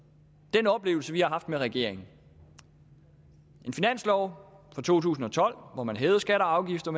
den oplevelse vi har haft med regeringen en finanslov for to tusind og tolv hvor man hævede skatter og afgifter